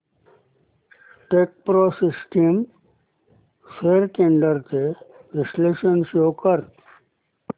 Techpro systems shares trends चे विश्लेषण show कर